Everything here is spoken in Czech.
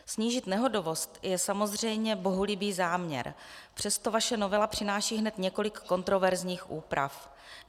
Snížit nehodovost je samozřejmě bohulibý záměr, přesto vaše novela přináší hned několik kontroverzních úprav.